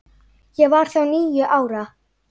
Ég var þá níu ára.